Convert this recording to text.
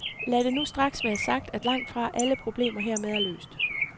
Lad det nu straks være sagt, at langtfra alle problemer hermed er løst.